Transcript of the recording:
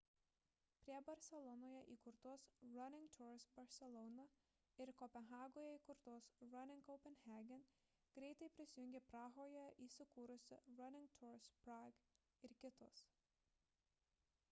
prie barselonoje įkurtos running tours barcelona ir kopenhagoje įkurtos running copenhagen greitai prisijungė prahoje įsikūrusi running tours prague ir kitos